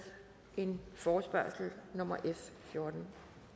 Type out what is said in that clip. en forespørgsel nummer f fjortende